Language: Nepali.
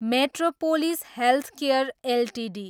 metropolis Healthcare Ltd